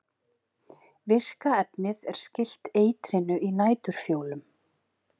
Virka efnið er skylt eitrinu í næturfjólum.